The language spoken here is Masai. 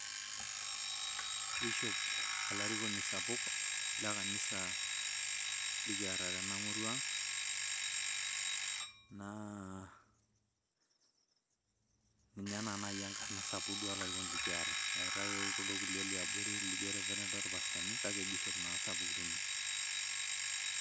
Bishop olarikoni sapuk le kanisa likiyata tenamurua ang', naa ninye naa naaji enkarna sapuk duo olarikoni likiyata, eetai kuldo kulie liabori lijo Reverend olpastani kake Bishop naa osapuk tene.